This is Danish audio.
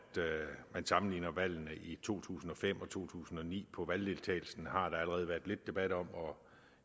man sammenligner valgene i to tusind og fem og to tusind og ni på valgdeltagelsen har der allerede været lidt debat om og